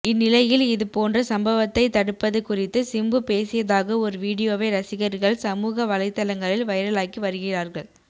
இந்நிலையில் இது போன்ற சம்பவத்தை தடுப்பது குறித்து சிம்பு பேசியதாக ஒரு வீடியோவை ரசிகர்கள் சமூக வலைதளங்களில் வைரலாக்கி வருகிறார்கள்